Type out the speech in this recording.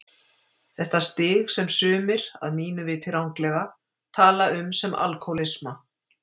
Þetta stig sem sumir, að mínu viti ranglega, tala um sem alkohólisma.